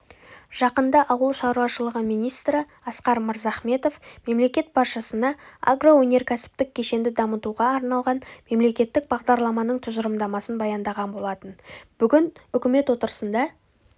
жақында ауыл шаруашылығы министрі асқар мырзаіметов мемлекет басшысына агроөнеркәсіптік кешенді дамытуға арналған мемлекеттік бағдарламаның тұжырымдамасын баяндаған болатын бүгін үкімет отырысында